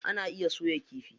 Ana iya soya kifi.